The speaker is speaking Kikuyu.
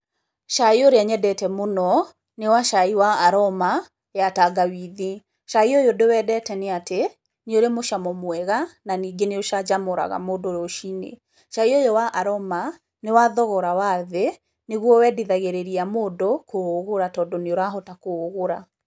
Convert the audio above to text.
Cai ũrĩa nyendete mũno nĩ wa cai wa Aroma ya tangawithi. Cai ũyũ ndĩwendete nĩ atĩ nĩ ũrĩ mũcamo mwega na ningĩ nĩ ũcanjamũraga mũndũ rũcinĩ. Cai ũyũ wa Aroma nĩ wa thogora wa thĩ, nĩguo wendithagĩrĩria mũndũ kũũgũra tondũ nĩ ũrahota kũũgũra.